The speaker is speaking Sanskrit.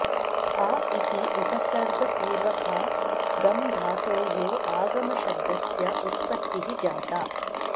आ इति उपसर्गपूर्वकात् गम् धातोः आगमशब्दस्य उत्पत्तिः जाता